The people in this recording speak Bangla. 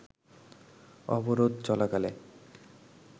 অবরোধ চলাকালে